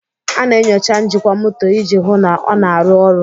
A na-enyocha njikwa moto iji hụ na ọ na-arụ ọrụ.